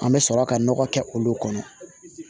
An bɛ sɔrɔ ka nɔgɔ kɛ olu kɔnɔ